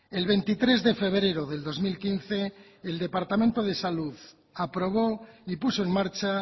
el veintitrés de febrero del dos mil quince el departamento de salud aprobó y puso en marcha